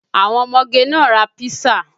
Àwọn ọmọge náà ra písà